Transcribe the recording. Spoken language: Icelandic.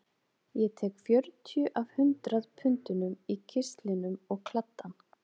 Ég tek fjörutíu af hundrað pundunum í kistlinum og kladdann